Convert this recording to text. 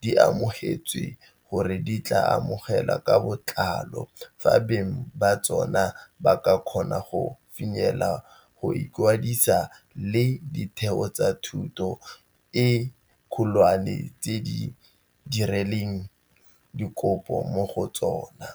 di amogetswe gore di tla amogelwa ka botlalo fa fela beng ba tsona ba ka kgona go finyelela go ikwadisa le ditheo tsa thuto e kgolwane tse ba dirileng dikopo mo go tsona.